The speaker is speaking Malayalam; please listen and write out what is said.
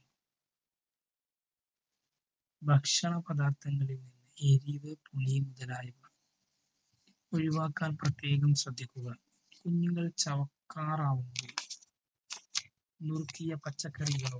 ഭക്ഷണ പദാർത്ഥങ്ങളിൽ എരിവ് പുളി മുതലായവ ഒഴിവാക്കാൻ പ്രത്യേകം ശ്രദ്ധിക്കുക. കുഞ്ഞുങ്ങൾ ചവയ്ക്കാറാകുമ്പോൾ നുറുക്കിയ പച്ചക്കറികളോ